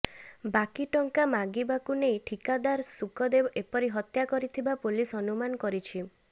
ବାକି ଟଙ୍କା ମାଗିବାକୁ ନେଇ ଠିକାଦାର ଶୁକଦେବ ଏପରି ହତ୍ୟା କରିଥିବା ପୁଲିସ ଅନୁମାନ କରିଛି